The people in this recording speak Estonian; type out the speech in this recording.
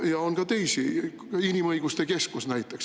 Ja on ka teisi, Inimõiguste Keskus näiteks.